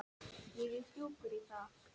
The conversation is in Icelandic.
Ég er sjúkur í það!